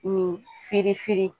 Kun firi firi